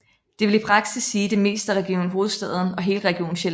Det vil i praksis sige det meste af Region Hovedstaden og hele Region Sjælland